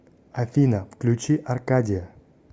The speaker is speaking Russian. афина включи аркадия